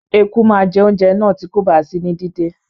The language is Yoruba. Eku má je ounjẹ náà ti kòba sí ní dídé